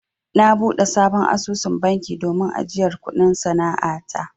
Na buɗe sabon asusun banki domin ajiyar kuɗin sana'a ta.